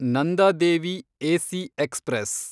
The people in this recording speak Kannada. Nanda Devi AC express